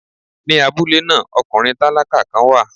Ní abúlé náà, ọkùnrin tálákà kan wà.